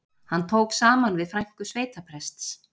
Hann tók saman við frænku sveitaprests